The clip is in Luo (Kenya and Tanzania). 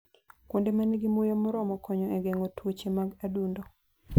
Kuonde ma nigi muya moromo konyo e geng'o tuoche mag adundo.